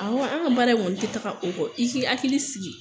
Awɔ, an ka baara kɔni tɛ taa o kɔ, i k' i hakili sigi.